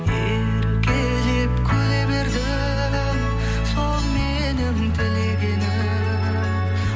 еркелеп күле бердің сол менің тілегенім